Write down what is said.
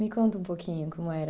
Me conta um pouquinho como era.